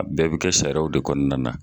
A bɛɛ bi kɛ sariyaw de kɔnɔna na